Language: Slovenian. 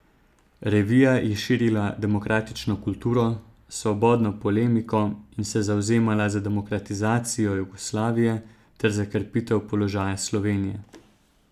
Revija je širila demokratično kulturo, svobodno polemiko in se zavzemala za demokratizacijo Jugoslavije ter za krepitev položaja Slovenije.